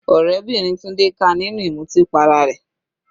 Ọ̀rẹ́bìnrin Tunde ká a nínú ìmutí para rẹ̀.